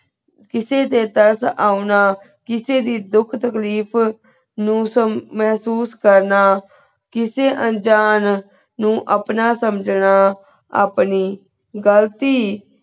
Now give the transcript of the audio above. ਕਿਸੇ ਦੇ ਦਰਸ ਆਵਣਾ ਕਿਸੇ ਦੇ ਦੁਖ ਤਕਲੀਫ਼ ਨੂ ਸਮ ਮੇਹ੍ਸੂਸ ਕਰਨਾ ਕਿਸੇ ਅੰਜਨ ਨੂ ਆਪਣਾ ਸਮਝਨਾ ਆਪਣੀ ਗਲਤੀ